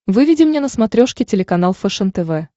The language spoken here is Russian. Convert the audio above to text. выведи мне на смотрешке телеканал фэшен тв